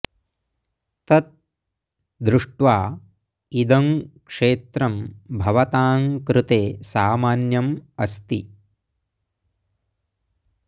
तत् दृष्ट्वा इदं क्षेत्रं भवतां कृते सामान्यम् अस्ति